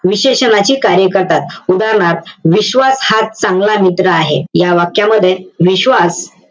विशेषणांची कार्यकथा. उदाहरणार्थ विश्वास हा चांगला मित्र आहे. या वाक्यामध्ये विश्वास,